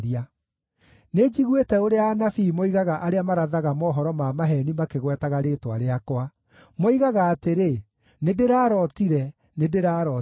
“Nĩnjiguĩte ũrĩa anabii moigaga arĩa marathaga mohoro ma maheeni makĩgwetaga rĩĩtwa rĩakwa. Moigaga atĩrĩ, ‘Nĩndĩrarootire! Nĩndĩrarootire!’